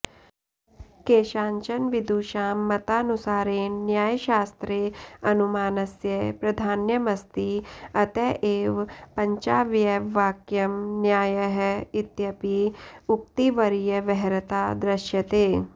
केषाञ्चन विदुषां मतानुसारेण न्यायशास्त्रे अनुमानस्य प्राधान्यमस्ति अत एव पञ्चावयववाक्यं न्यायः इत्यपि उक्तिर्व्यवहृता दृश्यते